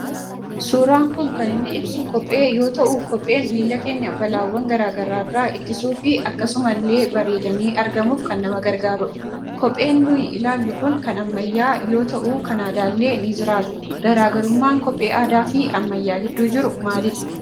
Suuraan kun kan inni ibsu kophee yoo ta'u, kopheen miilla keenya balaawwan garaagaraarraa ittisuu fi akkasumallee bareedanii argamuuf kan nama gargaarudha . Kopheen nuti ilaallu kun kan ammayyaa yoo ta'u, kan aadaallee ni jiraata. Garaagarummaan kophee aadaa fi ammayyaa gidduu jiru maalidhaa?